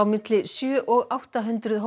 milli sjö og átta hundruð